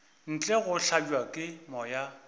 ntle go hlabja ke moya